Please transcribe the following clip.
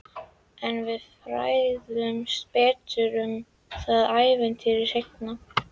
En við fræðumst betur um það ævintýri seinna.